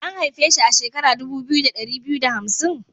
A'n haife shi a shekara dubu biyu, da dari biyu da hamsin.?